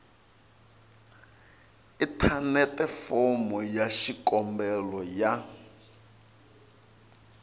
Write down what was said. inthanete fomo ya xikombelo ya